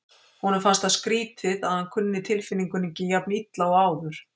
Honum fannst það skrýtið að hann kunni tilfinningunni ekki jafn illa og áður.